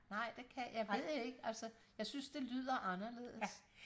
nej det kan jeg ved det ikke altså jeg synes det lyder anderledes